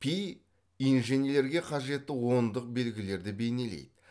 пи инженерлерге қажетті ондық белгілерді бейнелейді